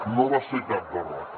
no va ser cap derrota